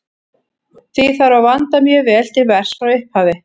Því þarf að vanda mjög vel til verks frá upphafi.